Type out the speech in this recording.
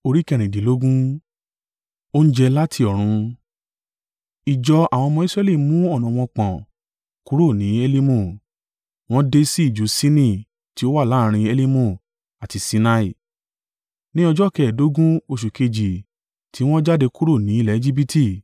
Ìjọ àwọn ọmọ Israẹli mú ọ̀nà wọn pọ̀n kúrò ni Elimu, wọ́n dé sí ijù Sini tí ó wà láàrín Elimu àti Sinai, ni ọjọ́ kẹ́ẹ̀dógún oṣù kejì tí wọ́n jáde kúrò ni ilẹ̀ Ejibiti.